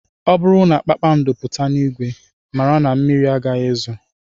Ọ bụrụ na kpakpando pụta n'ìgwè, mara na mmiri agaghị ezo